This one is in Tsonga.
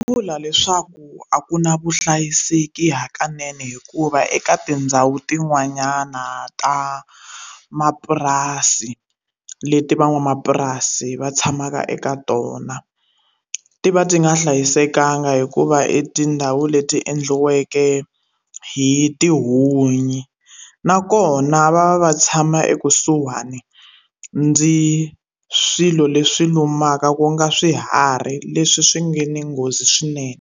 Vula leswaku a ku na vuhlayiseki hakanene hikuva eka tindhawu tin'wanyana ta mapurasi leti van'wamapurasi va tshamaka eka tona ti va ti nga hlayisekanga hikuva etindhawu leti endliweke hi tihunyi nakona va va va tshama ekusuhani ndzi swilo leswi lumaka ku nga swiharhi leswi swi nga ni nghozi swinene.